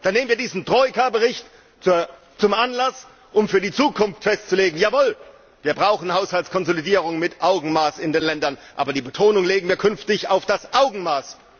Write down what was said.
Dann nehmen wir diesen Troika Bericht zum Anlass, um für die Zukunft festzulegen Jawohl, wir brauchen Haushaltskonsolidierung mit Augenmaß in den Ländern, aber die Betonung legen wir künftig auf das Augenmaß!